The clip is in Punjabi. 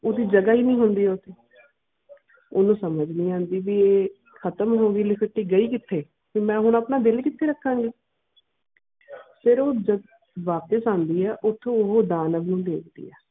ਓਢਿ ਜਗ੍ਹਾ ਨਾਈ ਹੋਂਦੀ ਓਥੇ ਓਨੁ ਸਮਾਜ ਨਾਈ ਆਉਂਦੀ ਇਹ ਹਾਤਿਮ ਹੋਂਦੀ ਲੁਕਤੀ ਗਈ ਕਿਥੇ ਤੇ ਹੁਣ ਮੈਂ ਆਪਣਾ ਦਿਲ ਕਿਥੇ ਰਾਖਾ ਗਈ ਫਿਰ ਉਹ ਜਾ ਵਾਪਿਸ ਆਉਂਦੀ ਉਠੁ ਉਹ ਦਾ ਨਾਲ ਓਨੁ ਦਿਖਦੀਆਂ.